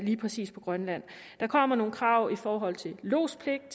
lige præcis på grønland der kommer nogle krav i forhold til lodspligten